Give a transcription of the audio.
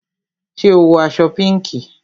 Ṣé o wọ aṣọ pinki?